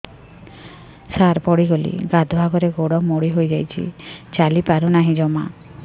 ସାର ପଡ଼ିଗଲି ଗାଧୁଆଘରେ ଗୋଡ ମୋଡି ହେଇଯାଇଛି ଚାଲିପାରୁ ନାହିଁ ଜମା